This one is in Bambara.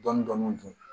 Dɔni dɔni dun